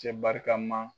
Cɛ barikama